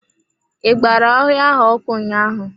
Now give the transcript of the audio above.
I gbara ọhịa ahụ ọkụ ụnyaahụ.